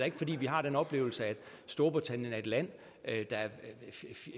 ikke fordi vi har den oplevelse at storbritannien er et land der er